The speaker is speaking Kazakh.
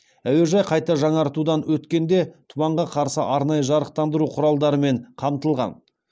әуежай қайта жаңғыртудан өткенде тұманға қарсы арнайы жарықтандыру құралдарымен қамтылған